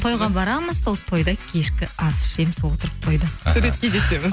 тойға барамыз сол тойда кешкі ас ішеміз отырып тойда іхі суретке де түсеміз